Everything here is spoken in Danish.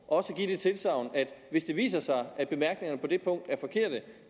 også give tilsagn om at hvis det viser sig at bemærkningerne på det punkt er forkerte